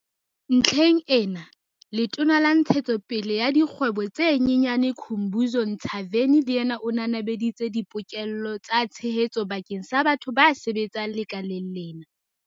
Ntlheng ena, Letona la Ntshetsopele ya Dikgwebo tse Nyenyane Khumbudzo Ntshavheni le yena o nanabeditse dipoke-llo tsa tshehetso bakeng sa batho ba sebetsang lekaleng lena.